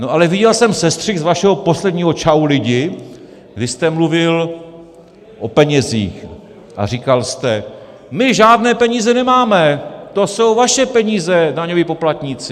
No ale viděl jsem sestřih z vašeho posledního Čau lidi, kdy jste mluvil o penězích a říkal jste: My žádné peníze nemáme, to jsou vaše peníze, daňoví poplatníci!